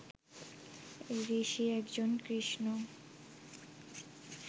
ঋষি একজন কৃষ্ণ